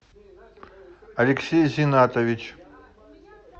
алексей зиннатович